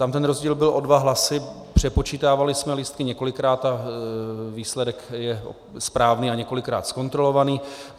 Tam ten rozdíl byl o dva hlasy, přepočítávali jsme lístky několikrát a výsledek je správný a několikrát zkontrolovaný.